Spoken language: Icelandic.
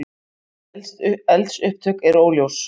Eldsupptök eru óljós